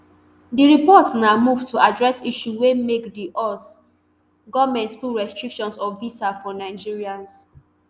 di report na move to address issue wey make di us goment put restriction of visa for nigerians